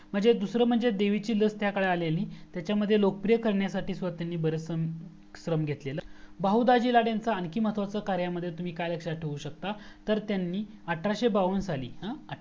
म्हणजे दूसरा म्हणजे देवीची लस त्या काळी आलेली. त्याच्यामध्ये लोकप्रिय करण्यासाठी बरेचसा श्रम केलेल होत. बहू दाजी ल आणखी काय महत्वाच्या कार्‍याला तुम्ही काय लक्षात ठेऊ सकता तर त्यांनी अठराशेबाव्वन्न साली